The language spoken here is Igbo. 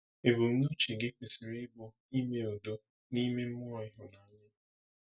Ebumnuche gị kwesịrị ịbụ ime udo n’ime mmụọ ịhụnanya.